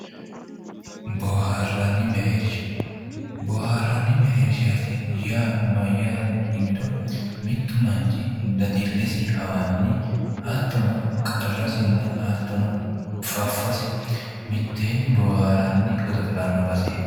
Booharanni mereersha ,boobaranni mereershati yaa mayate yinniro mitu manchi dadilesi hawanni hattono qarrasinna hattono fafosi mitteenni booharani godo'lano baseti